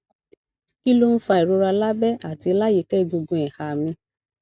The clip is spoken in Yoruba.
kí ló ń fa ìrora lábẹ àti láyìíká egungun iha mi